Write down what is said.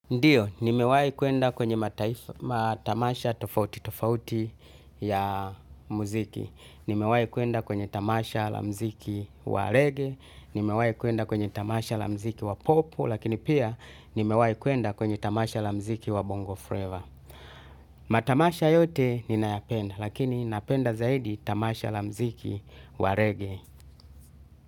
Ndiyo, nimewahi kwenda kwenye matamasha tofauti tofauti ya muziki. Nimewahi kwenda kwenye tamasha la muziki wa reggae. Nimewahi kwenda kwenye tamasha la muziki wa pop. Lakini pia, nimewahi kwenda kwenye tamasha la muziki wa bongo flavor. Matamasha yote ninayapenda. Lakini napenda zaidi tamasha la muziki wa Reggae.